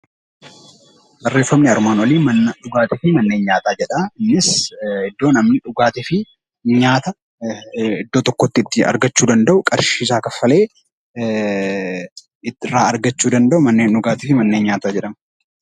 Barreeffamni armaan olii "Manneen Nyaataa fi Manneen Dhugaatii" jedha. Innis iddoo namni dhugaatii fi nyaata iddoo tokkotti itti argachuu danda'u, qarshii isaa kaffalee irraa argachuu danda'u 'Manneen dhugaatii fi manneen nyaataa' jedhama.